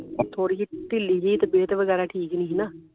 ਥੋੜੀ ਜਿਹੀ ਢਿੱਲੀ ਸੀ ਤੇ ਪਤ ਵਗੈਰਾ ਠੀਕ ਨਹੀਂ ਸੀ ਨਾ